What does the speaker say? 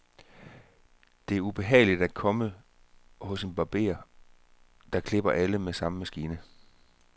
Det er ubehageligt at komme hos en barber, der klipper alle med samme maskine.